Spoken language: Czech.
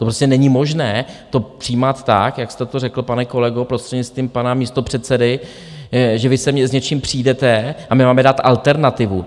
To prostě není možné to přijímat tak, jak jste to řekl, pane kolego, prostřednictvím pana místopředsedy, že vy sem s něčím přijdete a my máme dát alternativu.